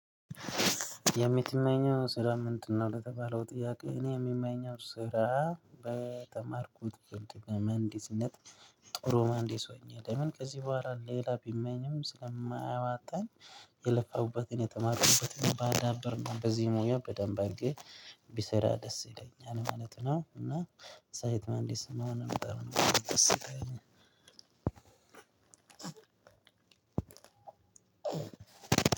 የምትመኘው ስራ ምንድነው? ለተባለው ጥያቄ እኔ የምመኘው ስራ በተማርኩት ግን መሀንዲስነት ጥሩ መሀንዲስ ሆኛለሁ ከዚህ በኋላ ሌላ ቢመኝም ስለማያዋጣን። የለፋሁበትን የተማርኩበትን ባዳበርን በዚህ ሙያ በደንብ አድርጌ ቢሰራ ደስ ይለኛል ማለት ነው። እና ሳይት ማሀንዲስ ምሆን በጣም ደስ ይለኛል። አዎ